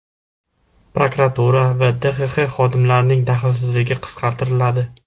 Prokuratura va DXX xodimlarining daxlsizligi qisqartiriladi.